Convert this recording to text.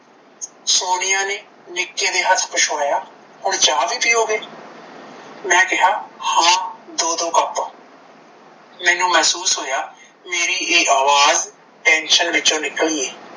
ਸੋਨੀਆ ਨੇ ਨਿੱਕੇ ਦੇ ਹੱਥ ਪੁੱਛਵਾਇਆ ਹੁਣ ਚਾਹ ਵੀ ਪੀਓਗੇ? ਮੈਂ ਕਿਹਾ ਹਾਂ ਦੋ ਦੋ ਕੱਪ। ਮੈਨੂੰ ਮਹਿਸੂਸ ਹੋਇਆ ਮੇਰੀ ਇਹ ਆਵਾਜ਼ tension ਵਿੱਚੋਂ ਨਿਕਲੀ ਏ